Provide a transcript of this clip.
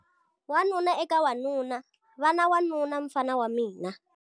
Wanuna eka wanuna- Va na wanuna, mfana wa mina.